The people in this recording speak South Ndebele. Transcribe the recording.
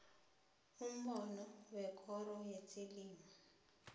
umbono wekoro yezelimo